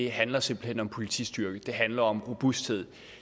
handler simpelt hen om politistyrke det handler om robusthed